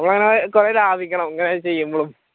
അങ്ങനെ കുറെ ലഭിക്കണം ഇങ്ങനെ ചെയ്യുമ്പോളും top up ചെയ്യുമ്പോളും എല്ലാം